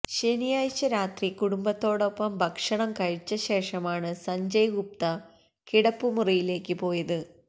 ശനിയാഴ്ച രാത്രി കുടുംബത്തോടൊപ്പം ഭക്ഷണം കഴിച്ച ശേഷമാണ് സഞ്ജയ് ഗുപ്ത കിടപ്പുമുറിയിലേക്ക് പോയത്